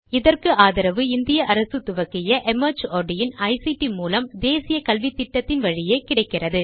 இதற்கு ஆதரவு இந்திய அரசு துவக்கிய ஐசிடி மூலம் தேசிய கல்வித்திட்டத்தின் வழியே கிடைக்கிறது